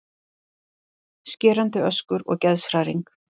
Skerandi öskur og geðshræring.